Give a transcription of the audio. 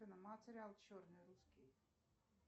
материал черный русский